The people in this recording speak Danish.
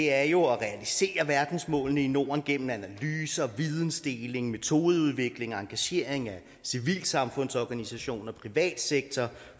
er jo at realisere verdensmålene i norden gennem analyser vidensdeling metodeudvikling og engagering af civilsamfundsorganisationer privatsektor